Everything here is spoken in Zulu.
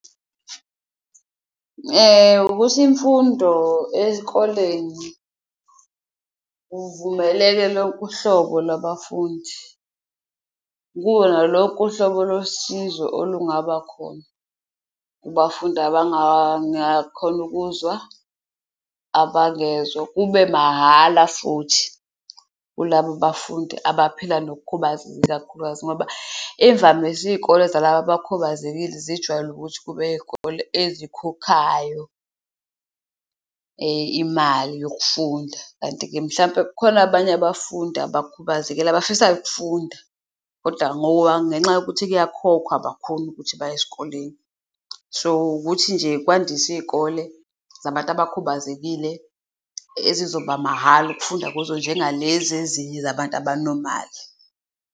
Ukuthi imfundo ezikoleni kuvumeleke lonke uhlobo lwabafundi, kube nalonke uhlobo lwesizwe olungabakhona kubafundi abangakhoni ukuzwa, abangezwa kube mahhala futhi kulabo bafundi abaphila nokukhubazeka, ikakhulukazi. Ngoba imvamisa iy'kole zalaba abakhubazekile zijwayele ukuthi kube iyikole ezikhokhayo imali yokufunda, kanti-ke mhlampe kukhona abanye abafundi abakhubazekile abafisayo ukufunda koda ngenxa yokuthi kuyakhokhwa abakhoni ukuthi baye esikoleni. So, ukuthi nje kwandiswe iy'kole zabantu abakhubazekile ezizoba mahhala ukufunda kuzo, njengalezi ezinye zabantu abanomali.